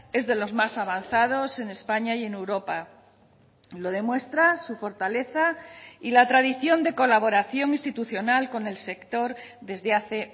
es de los más avanzados en españa y en europa lo demuestra su fortaleza y la tradición de colaboración institucional con el sector desde hace